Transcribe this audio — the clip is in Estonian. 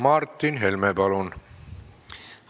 Martin Helme, palun!